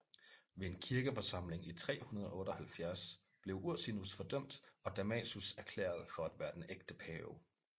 Ved en kirkeforsamling i 378 blev Ursinus fordømt og Damasus erklæret for at være den ægte pave